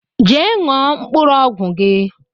Jee ṅụọ mkpụrụ ọgwụ gi